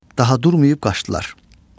Daha durmayıb qaçdılar.